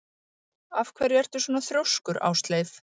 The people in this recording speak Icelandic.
Af hverju ertu svona þrjóskur, Ásleif?